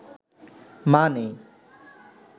মা নেই